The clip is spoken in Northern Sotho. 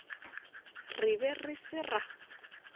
re be re se ra